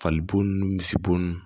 Fali bo n'u misibo nn